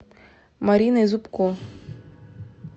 мариной зубко